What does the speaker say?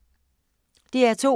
DR P2